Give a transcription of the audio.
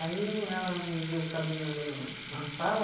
Aí o, ela me viu caminhando no, na sala.